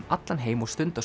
allan heim og stunda